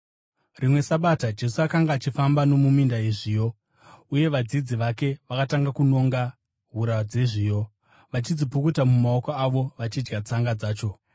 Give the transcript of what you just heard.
Rimwe Sabata Jesu akanga achifamba nomuminda yezviyo, uye vadzidzi vake vakatanga kunonga hura dzezviyo, vachidzipukuta mumaoko avo vachidya tsanga dzacho.